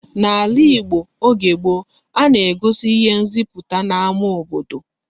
N'ala Igbo oge gboo, a na-egosi ihe nziputa n'ámá obodo